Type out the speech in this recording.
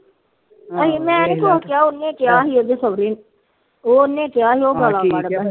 ਆ ਉਹਨੇ ਕਿਹਾ ਉਹਦੇ ਸੋਹਰੇ ਨੇ ਉਹਨੇ ਕਿਹਾ ਸੀ ਉਹ ਗਾਲਾ ਕੱਢਦਾ